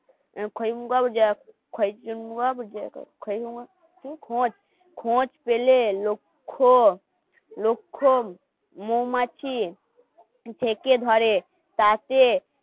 খৈমুগাও যা খোঁজ পেলে লোক্ষন মৌমাছির থেকে ধরে তাতে